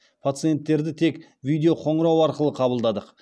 пациенттерді тек видеоқоңырау арқылы қабылдадық